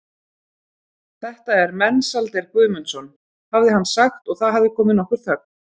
Þetta er Mensalder Guðmundsson, hafði hann sagt og það hafði komið nokkur þögn.